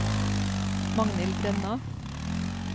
Magnhild Brenna